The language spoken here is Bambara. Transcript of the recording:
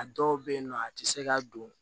A dɔw bɛ yen nɔ a tɛ se ka don